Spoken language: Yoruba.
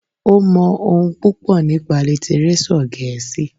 Ó mọ ohun púpọ̀ nípa lítírésọ̀ gẹ̀ẹ́sì.